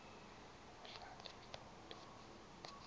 udlale i lotto